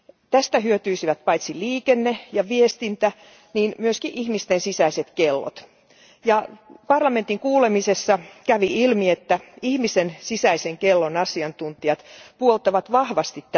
Tästä hyötyisivät paitsi liikenne ja viestintä niin myös ihmisten sisäiset kellot. Parlamentin kuulemisessa kävi ilmi, että ihmisen sisäisen kellon asiantuntijat puoltavat tätä vahvasti.